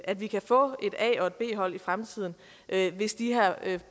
at vi kan få et a og et b hold i fremtiden hvis de her